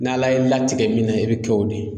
N'ala y'i latigɛ min na i bɛ kɛ o de ye.